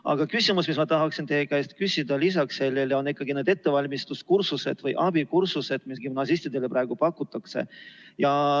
Aga küsimus, mida ma lisaks tahaksin teie käest veel küsida, on nende ettevalmistuskursuste või abikursuste kohta, mida gümnasistidele praegu pakutakse.